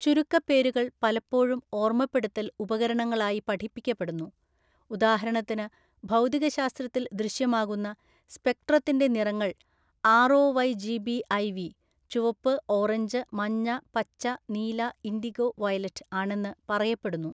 ചുരുക്കപ്പേരുകൾ പലപ്പോഴും ഓർമ്മപ്പെടുത്തൽ ഉപകരണങ്ങളായി പഠിപ്പിക്കപ്പെടുന്നു, ഉദാഹരണത്തിന് ഭൗതികശാസ്ത്രത്തിൽ ദൃശ്യമാകുന്ന സ്പെക്ട്രത്തിന്റെ നിറങ്ങൾ ആര്‍.ഒ.വൈ.ജി.ബി.ഐ.വി. (ചുവപ്പ് ഓറഞ്ച് മഞ്ഞ പച്ച നീല ഇൻഡിഗോ വയലറ്റ്) ആണെന്ന് പറയപ്പെടുന്നു.